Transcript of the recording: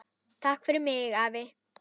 Takk fyrir mig, afi.